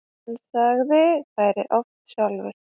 Hann sagði þær oft sjálfur.